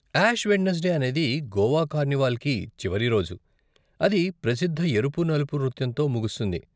Ash Wednesday అనేది గోవా కార్నివాల్కి చివరి రోజు, అది ప్రసిద్ధ ఎరుపు, నలుపు నృత్యంతో ముగుస్తుంది.